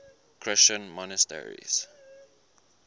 christian monasteries